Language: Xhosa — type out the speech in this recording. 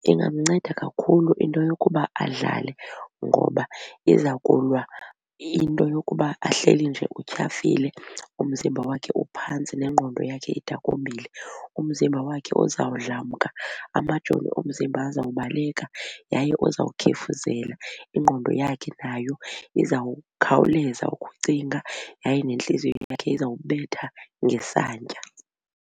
Ingamnceda kakhulu into yokuba adlale ngoba iza kulwa into yokuba ahleli nje utyhafile umzimba wakhe uphantsi nengqondo yakhe idakumbile. Umzimba wakhe uzawudlamka, amajoni omzimba azawubaleka yaye uzawukhefuzela ingqondo yakhe nayo izawukhawuleza ukucinga yaye nentliziyo yakhe izawubetha ngesantya.